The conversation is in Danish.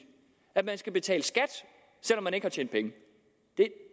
at man skal betale skat selv om man ikke har tjent penge det